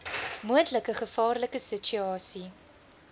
moontlike gevaarlike situasie